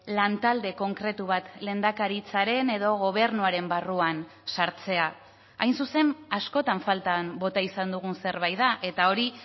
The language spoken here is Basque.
lantalde konkretu bat lehendakaritzaren edo gobernuaren barruan sartzea hain zuzen askotan faltan bota izan dugun zerbait da eta hori